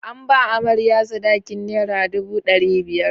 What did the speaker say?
An ba amarya sadakin nera dubu ɗari biyar.